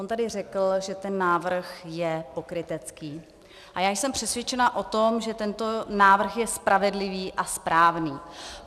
On tady řekl, že ten návrh je pokrytecký, a já jsem přesvědčena o tom, že tento návrh je spravedlivý a správný.